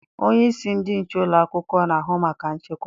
Onyeisi ndị nche ụlọakwụkwọ na-ahụ maka nchekwa